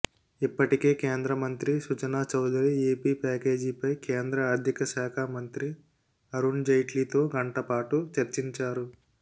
ఇప్పటికే కేంద్రమంత్రి సుజనా చౌదరి ఏపీ ప్యాకేజీపై కేంద్ర ఆర్థికశాఖ మంత్రి అరుణ్ జైట్లీతో గంటపాటు చర్చించారు